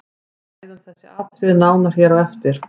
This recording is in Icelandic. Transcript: Við ræðum þessi atriði nánar hér á eftir.